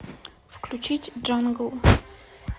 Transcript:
включить джангл